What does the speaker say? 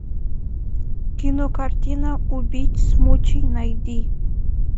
кинокартина убить смучи найди